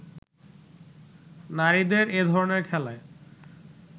নারীদের এধরনের খেলায়